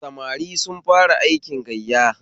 Samari sun fara aikin gayya